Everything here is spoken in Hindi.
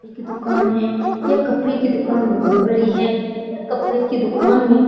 एक दुकान है यह कपड़े की दुकान बहुत बड़ी है यह कपड़े की दुकान में --